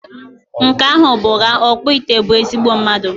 Nke ahụ bụ ụgha, ọkpụite bụ ezigbo mmadụ